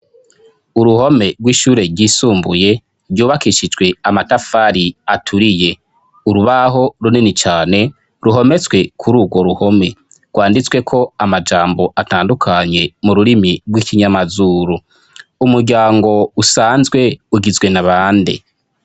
Uruhome rw'ishure ryisumbuye ryubakishijwe amatafari aturiye, urubaho runini cane ruhometswe kuri urwo ruhome rwanditsweko amajambo atandukanye mu rurimi rw'ikinyamazuru. Umuryango usanzwe ugizwe na bande?